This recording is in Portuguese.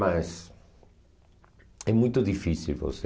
Mas... É muito difícil você...